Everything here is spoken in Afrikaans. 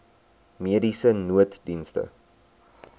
mediese nooddienste